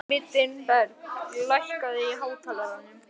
Mildinberg, lækkaðu í hátalaranum.